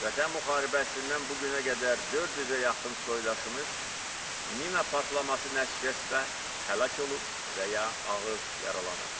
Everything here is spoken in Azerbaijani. Vətən müharibəsindən bu günə qədər 400-ə yaxın soydaşımız mina partlaması nəticəsində həlak olub və ya ağır yaralanıb.